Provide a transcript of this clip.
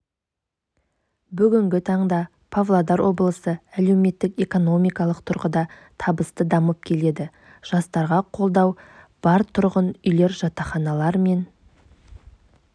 бүгінгі таңда павлодар облысы әлеуметтік-экономикалық тұрғыда табысты дамып келеді жастарға қолдау бар тұрғын үйлер жатақханалар мен